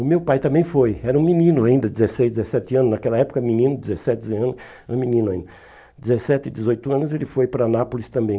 O meu pai também foi, era um menino ainda, dezesseis, dezessete anos, naquela época menino, dezessete anos era menino ainda, dezessete, dezoito anos, ele foi para Nápoles também.